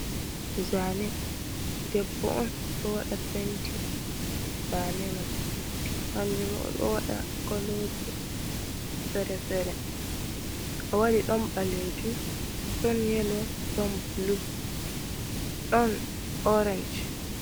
Zane debbo on do wada penti, zane man hanjum odowada koloji fere-fere. wadi don balejum don yelo don blu don orange.